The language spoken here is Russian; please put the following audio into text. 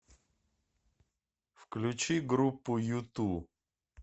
включи группу юту